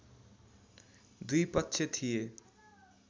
दुई पक्ष थिए